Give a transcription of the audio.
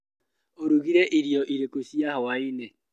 ũrugire irio irĩkũ cia hwainĩ?